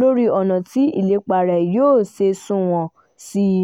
lórí ọ̀nà tí ìlépa rẹ̀ yóò ṣe sunwọ̀n sí i